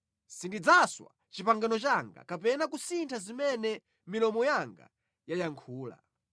Sindidzaswa pangano langa kapena kusintha zimene milomo yanga yayankhula.